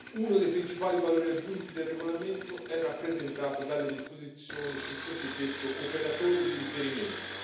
Uno dei principali valori aggiunti del regolamento è rappresentato dalle disposizioni sul cosiddetto operatore di riferimento.